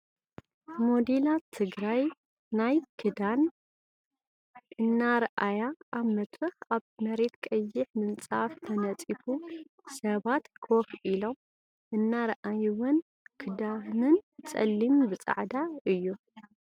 ሞዴላት ምርኢት ናይ ክዳን እናርኣያ ኣብ ምድርክ ኣብ መሬት ቀይሕ ምንፃፍ ተንፂፉ ስባት ኮፍ ኢሎም እናረኣይውን ክዳንን ፀሊም ብፃዕዳ እዩ።